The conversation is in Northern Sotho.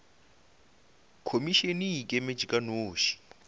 khomišene e ikemetše ka noši